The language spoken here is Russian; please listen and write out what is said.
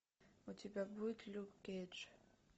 у тебя будет люк кейдж